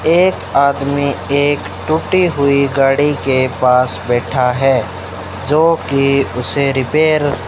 एक आदमी एक टूटी हुई गाड़ी के पास बैठा है जोकि उसे रिपेयर --